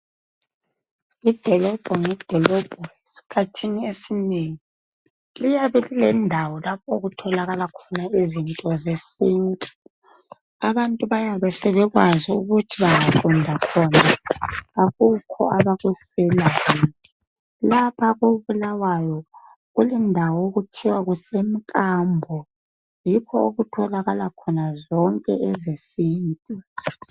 Idolobho ngedolobho esikhathini esinengi liyabe lilendawo lapho okutholakala khona izinto zesintu, abantu bayabe sebekwazi ukuthi bengaqonda khona akukho abakuswelayo, lapha ko bulawayo kulendawo okuthiwa kuse mkambo yikho okutholakala khona zonke ezesintu.